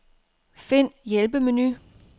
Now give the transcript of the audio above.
Find hjælpemenu.